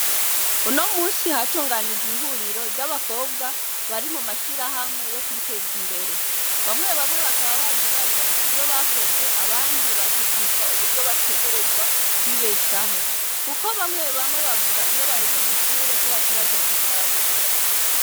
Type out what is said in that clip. Uno munsi hatunganijwe ihuriro ry'abakobwa bari mu mashirahamwe yo kwiteza imbere bamwe bamwe bakaba baje bazanye ivyo bakoze abandi bakigishwa uburyo bategerezwa kwibeshaho, kuko bamwe bamwe bavuga iyo bahejeje ishure ko baca baja kwicara muhira.